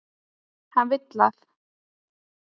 Hann vill að.